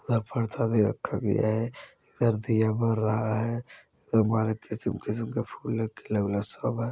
उधर प्रसादी रखा गया है इधर दिया बड़ रहा है